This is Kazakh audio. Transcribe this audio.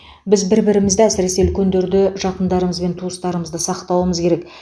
біз бір бірімізді әсіресе үлкендерді жақындарымыз бен туыстарымызды сақтауымыз керек